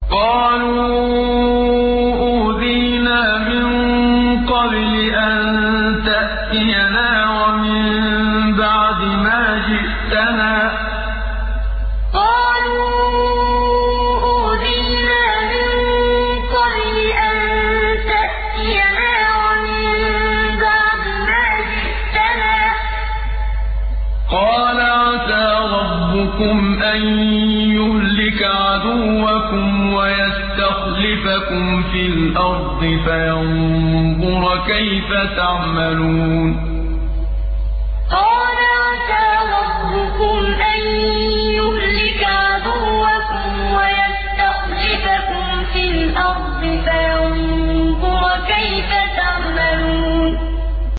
قَالُوا أُوذِينَا مِن قَبْلِ أَن تَأْتِيَنَا وَمِن بَعْدِ مَا جِئْتَنَا ۚ قَالَ عَسَىٰ رَبُّكُمْ أَن يُهْلِكَ عَدُوَّكُمْ وَيَسْتَخْلِفَكُمْ فِي الْأَرْضِ فَيَنظُرَ كَيْفَ تَعْمَلُونَ قَالُوا أُوذِينَا مِن قَبْلِ أَن تَأْتِيَنَا وَمِن بَعْدِ مَا جِئْتَنَا ۚ قَالَ عَسَىٰ رَبُّكُمْ أَن يُهْلِكَ عَدُوَّكُمْ وَيَسْتَخْلِفَكُمْ فِي الْأَرْضِ فَيَنظُرَ كَيْفَ تَعْمَلُونَ